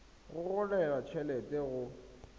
go gogelwa t helete go